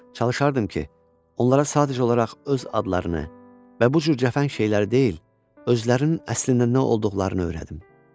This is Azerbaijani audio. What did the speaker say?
Çalışardım ki, onlara sadəcə olaraq öz adlarını və bu cür cəfəng şeyləri deyil, özlərinin əslində nə olduqlarını öyrədim.